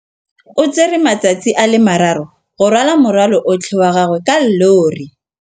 O tsere malatsi a le marraro go rwala morwalo otlhe wa gagwe ka llori.